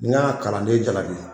Ni n y'a kalanden jalaki.